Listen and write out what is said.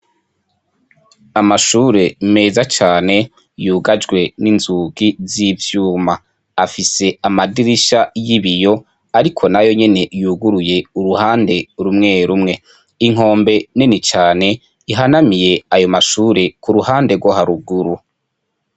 Amashure meza cane yugajwe n'inzugi z'ivyuma. Afise amadirisha y'ibiyo, ariko nayo nyene yuguruye uruhande rumwe rumwe. Inkombe nini cane ihanamiye ayo mashure kuruhande rwo haruguru.